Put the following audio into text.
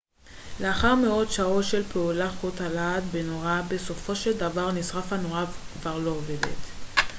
לאחר מאות שעות של פעולה חוט הלהט בנורה בסופו של דבר נשרף והנורה כבר לא עובדת